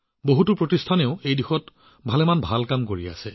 বহু অনুষ্ঠানপ্ৰতিষ্ঠানেও এই দিশত অতি ভাল কাম কৰি আছে